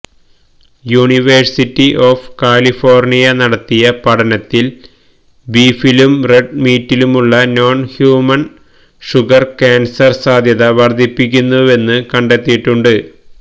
university of California നടത്തിയ പഠനത്തില് ബീഫിലും റെഡ് മീറ്റിലുമുള്ള നോണ് ഹ്യുമണ് ഷുഗര് ക്യാന്സര് സാധ്യത വര്ദ്ധിപ്പിയ്ക്കുന്നുവെന്നു കണ്ടെത്തിയിട്ടുണ്ട്